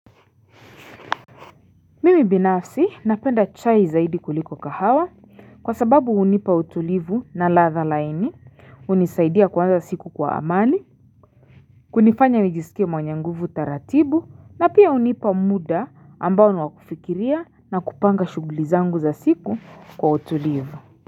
Mimi binafsi napenda chai zaidi kuliko kahawa kwa sababu hunipa utulivu na ladha laini, hunisaidia kuanza siku kwa amani, kunifanya nijisikie mwenye nguvu taratibu na pia hunipa muda ambao ni wa kufikiria na kupanga shughuli zangu za siku kwa utulivu.